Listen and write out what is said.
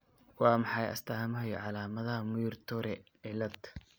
Waa maxay astamaha iyo calaamadaha Muir Torre cilad?